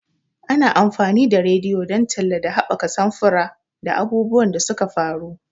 Ana amfani da rediyo don talla da haɓaka samfura da abubuwan da suka faru.